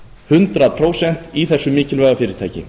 hundrað prósent í þessu mikilvæga fyrirtæki